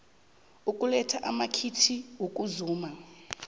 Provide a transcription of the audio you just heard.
ukuletha amakhiti wokuzuma